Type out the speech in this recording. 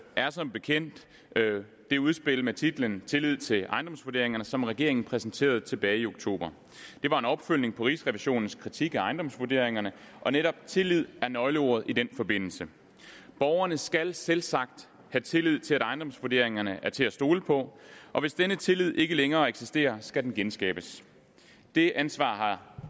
er som bekendt det udspil med titlen tillid til ejendomsvurderingerne som regeringen præsenterede tilbage i oktober det var en opfølgning på rigsrevisionens kritik af ejendomsvurderingerne og netop tillid er nøgleordet i den forbindelse borgerne skal selvsagt have tillid til at ejendomsvurderingerne er til at stole på og hvis denne tillid ikke længere eksisterer skal den genskabes det ansvar har